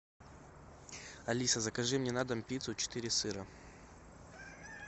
алиса закажи мне на дом пиццу четыре сыра